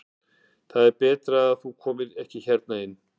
Það er betra að þú komir ekki hérna inn.